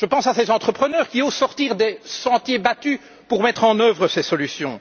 Je pense à ces entrepreneurs qui osent sortir des sentiers battus pour mettre en œuvre ces solutions.